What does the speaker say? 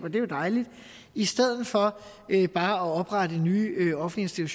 er jo dejligt i stedet for bare at oprette nye offentlige